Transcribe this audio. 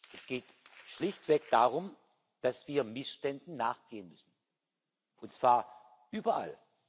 Es geht schlichtweg darum, dass wir Missständen nachgehen müssen, und zwar überall.